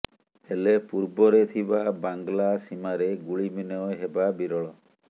ହେଲେ ପୂର୍ବରେ ଥିବା ବାଂଲା ସୀମାରେ ଗୁଳିବିନିମୟ ହେବା ବିରଳ